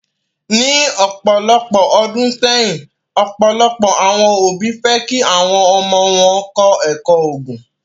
Ni ọpọlọpọ ọdun sẹyin, ọpọlọpọ awọn obi fẹ ki awọn ọmọ wọn kọ ẹkọ Oogun